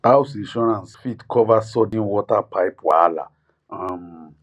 house insurance fit cover sudden water pipe wahala um